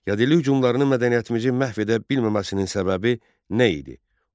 Yadelli hücumlarını mədəniyyətimizi məhv edə bilməməsinin səbəbi nə idi?